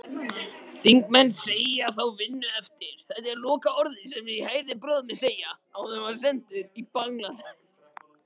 Þingmenn segja þá vinnu eftir.